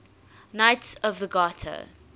knights of the garter